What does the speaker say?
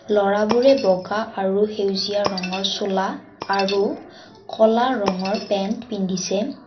ল'ৰাবোৰে বগা আৰু সেউজীয়া ৰঙৰ চোলা আৰু ক'লা ৰঙৰ পেন্ট পিন্ধিছে।